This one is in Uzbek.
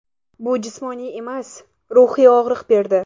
Bu jismoniy emas, ruhiy og‘riq berdi”.